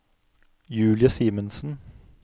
Julie Simensen